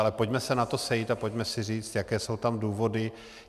Ale pojďme se na to sejít a pojďme si říct, jaké jsou tam důvody.